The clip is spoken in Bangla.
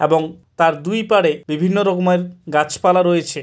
এবং তার দুই পারে বিভিন্ন রকমের গাছপালা রয়েছে।